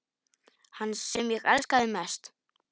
Hann sem ég elskaði mest.